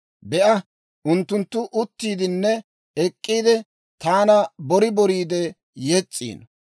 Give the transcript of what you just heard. Be'a, unttunttu uttiiddinne ek'k'iide, taana bori boriidde yes's'iino.